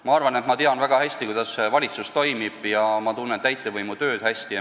Ma arvan, et ma tean, kuidas valitsus toimib – ma tunnen täitevvõimu tööd hästi.